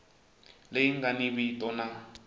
leyi nga ni vito na